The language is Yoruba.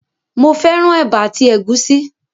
Mo fẹ́ràn ẹ̀bà àti ẹ̀gúsí